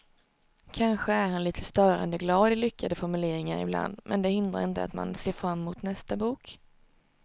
Kanske är han lite störande glad i lyckade formuleringar ibland men det hindrar inte att man ser fram emot nästa bok.